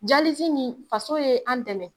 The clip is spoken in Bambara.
nin faso ye an dɛmɛ